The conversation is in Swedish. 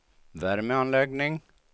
värmeanläggning